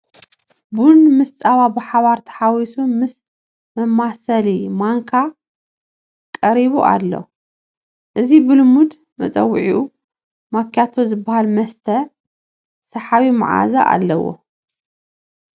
ቡን ምስ ፃባ ብሓባር ተሓዊሱ ምስ መማሰሊ ማንካ ቀሪቡ ኣሎ፡፡ እዚ ብልሙድ መፀውዒኡ ማክያቶ ዝብሃል መስተ ሰሓቢ መዓዛ ዘለዎ እዩ፡፡